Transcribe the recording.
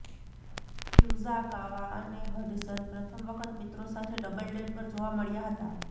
ફ્યુઝાકાવા અને હડસન પ્રથમ વખત મિત્રો સાથે ડબલ ડેટ પર જોવા મળ્યા હતા